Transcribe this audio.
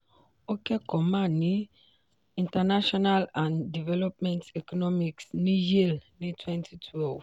ó kẹ́kọ̀ọ́ ma ní international and development economics ní yale ní twenty twelve